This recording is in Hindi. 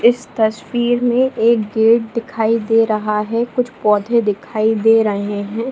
इस तस्वीर में एक गेट दिखाई दे रहा है कुछ पौधे दिखाई दे रहे हैं ।